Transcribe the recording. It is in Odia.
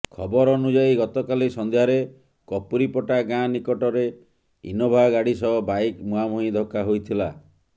ଖବର ଅନୁଯାୟୀ ଗତକାଲି ସନ୍ଧ୍ୟାରେ କପୁରିପଟା ଗାଁ ନିକଟରେ ଇନୋଭା ଗାଡି ସହ ବାଇକ ମୁହାଁମୁହିଁ ଧକ୍କା ହୋଇଥିଲା